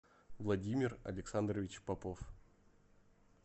владимир александрович попов